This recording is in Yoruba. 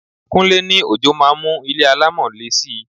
Kúnlé ní ojò máa ń mú ilé alámọ̀ le si.